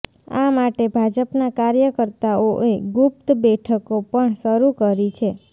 આ માટે ભાજપના કાર્યકર્તાઓએ ગુપ્ત બેઠકો પણ શરૂ કરી છે